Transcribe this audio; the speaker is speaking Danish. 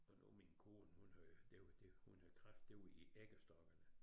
Og nu min kone hun havde det det hvor hun havde kræft det var i æggestokkene